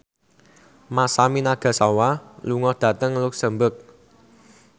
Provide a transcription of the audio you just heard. Masami Nagasawa lunga dhateng luxemburg